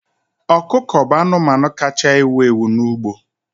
Ọkụkọ bụ anụmanụ kacha ewu ewu n'ugbo.